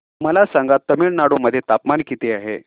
मला सांगा तमिळनाडू मध्ये तापमान किती आहे